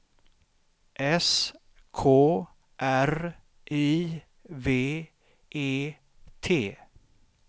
S K R I V E T